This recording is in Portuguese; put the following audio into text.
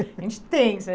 A gente tensa, né?